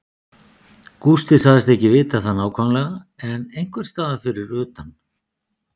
Gústi sagðist ekki vita það nákvæmlega en einhversstaðar fyrir utan